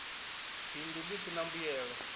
bindu ḽi si ḽa mbuyelo